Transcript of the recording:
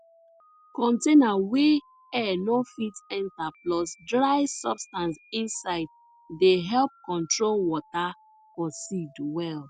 container wey air no fit enter plus dry substance inside dey help control water for seed well